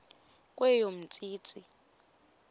kweyomntsintsi